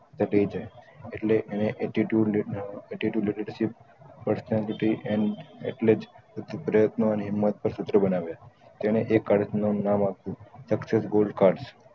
દબાય જાય એટલે એને attitude leadership personality and પ્રયત્ન અને હિમત ઉપર સુત્ર બનાવ્યા તેને એ કાર્ડ નું નામ આપ્યું ગોલ્ડ કાર્ડ